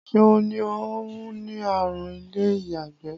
Ṣeun ní òun ní àrùn ilé-iyagbe.